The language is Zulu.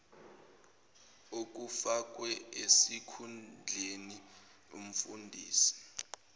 okufakwe esikhundleni umfundisi